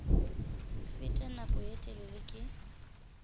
fete nako ye telele ke